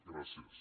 gràcies